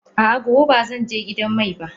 A'a, gobe ba zan je gidan mai ba.